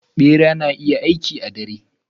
Bera suna yawan aiki a lokacib dare.